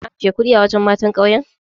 Kina ajiye kuɗi a wajen matan ƙauyen?